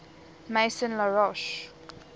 maison la roche